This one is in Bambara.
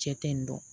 Cɛ tɛ yen nɔ